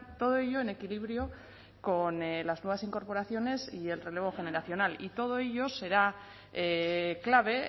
todo ello en equilibrio con las nuevas incorporaciones y el relevo generacional y todo ello será clave